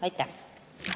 Aitäh!